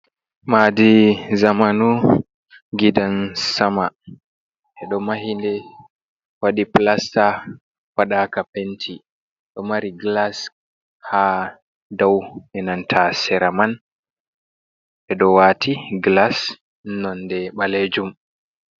Madi zamanu gidan sama, ɓeɗo mahi nde waɗi pilasta waɗaka penti, ɗo mari glas ha dau enanta seraman ɓe ɗo wati glas nonde ɓalejum.